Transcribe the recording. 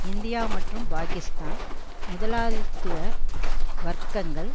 India மற்றும் பாக்கிஸ்தான் முதலாளித்துவ வர்க்கங்கள்